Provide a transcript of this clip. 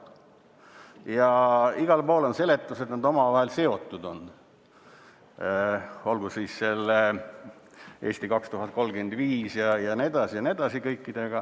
Ja igal pool on seletus, et nad on omavahel seotud, olgu siis selle "Eesti 2035-ga" jne, jne – kõikidega.